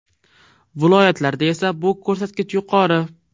Viloyatlarda esa bu ko‘rsatkich yuqori.